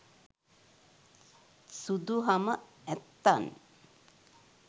සුදු හම ඇත්තන්